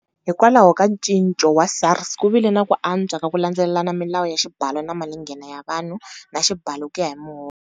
Hikwalaho ka ncinco wa SARS ku vile na ku antswa ka ku landzelelana milawu ya xibalo xa malinghena ya vanhu, na Xibalo ku ya hi Muholo.